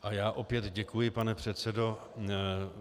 A já opět děkuji, pane předsedo.